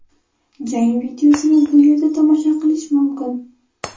Jang videosini bu yerda tomosha qilish mumkin.